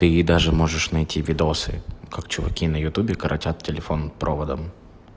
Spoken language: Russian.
ты даже можешь найти видео как чуваки на ютубе коротят телефон проводом